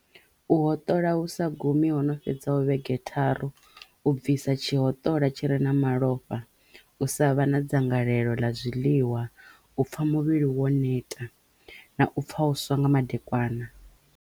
U hoṱola hu sa gumi ho no fhedzaho vhege tharu, u bvisa tshihoṱola tshi re na malofha, u sa vha na dzangalelo ḽa zwiḽiwa, u pfha muvhili wo neta na u pfha u swa nga madekwana.